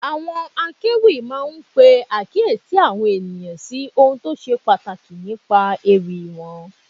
Àwọn akéwì máa ń pe àkíyèsí àwọn ènìyàn sí ohun tó ṣe pàtàkì nípa ewì wọn.